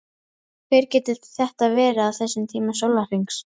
Hver getur þetta verið á þessum tíma sólarhrings?